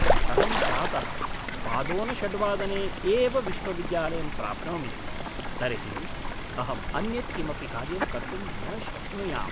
यदि अहं प्रातः पादोनषड्वादने एव विश्वविद्यालयं प्राप्नोमि तर्हि अहम् अन्यत् किमपि कार्यं कर्तुं न शक्नुयाम्।